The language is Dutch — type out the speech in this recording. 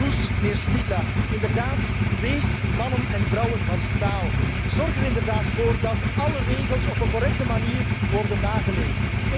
Mevrouw Kroes, mijnheer Špidla, inderdaad, wees mannen en vrouwen van staal. Zorg er inderdaad voor dat alle regels op een correcte manier worden nageleefd.